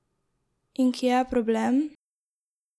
In kje je problem?